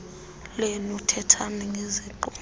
lenu thethani ngeziqu